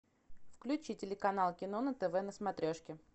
включи телеканал кино на тв на смотрешке